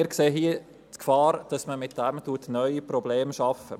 Wir sehen hier die Gefahr, dass man damit neue Probleme schafft.